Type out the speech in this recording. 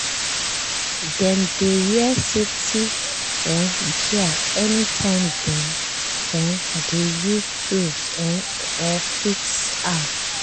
dem dey wear safety um gear anytime dem um dey use tool um or fix house.